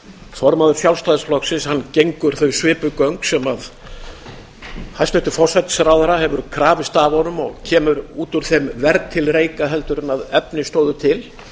formaður sjálfstæðisflokksins gengur þau svipuð göng sem hæstvirtur forsætisráðherra hefur krafist af honum og kemur út úr þeim verr til reika heldur en efni stóðu til